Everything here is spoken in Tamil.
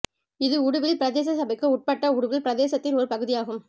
இது உடுவில் பிரதேச சபைக்கு உட்பட்ட உடுவில் பிரதேசத்தின் ஒரு பகுதியாகும்